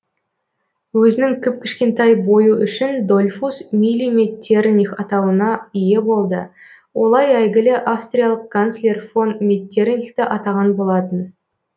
өзінің кіп кішкентай бойы үшін дольфус миллиметтерних атауына ие болды олай әйгілі австриялық канцлер фон меттернихті атаған болатын